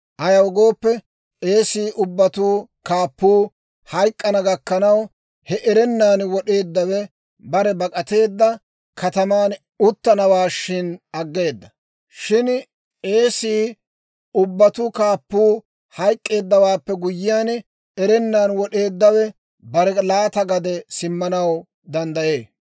Ayaw gooppe, k'eesii ubbatuu kaappuu hayk'k'ana gakkanaw, he erennan wod'eeddawe bare bak'ateedda kataman uttanawaashin aggeeda. Shin k'eese ubbatuu kaappuu hayk'k'eeddawaappe guyyiyaan, erennan wod'eeddawe bare laata gade simmanaw danddayee.